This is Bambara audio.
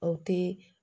O te